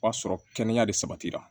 O b'a sɔrɔ kɛnɛya de sabatira